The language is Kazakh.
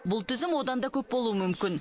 бұл тізім одан да көп болуы мүмкін